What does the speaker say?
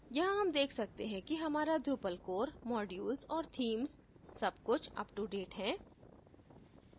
यहाँ हम देख सकते हैं कि हमारा drupal core modules और themes सब कुछ अपtodate है